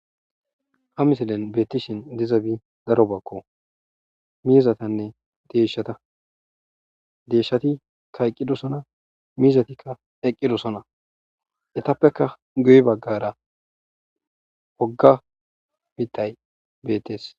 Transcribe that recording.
ha misillen beettishin dizabi daro bakko miizatanne deeshshata deeshshati kayqqidosona miizatikka eqqidosona etappeka guyi baggara woga miittay betees